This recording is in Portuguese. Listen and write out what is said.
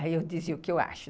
Aí eu dizia o que eu acho.